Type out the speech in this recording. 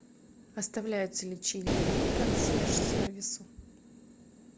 оставляются ли чаевые консьерж сервису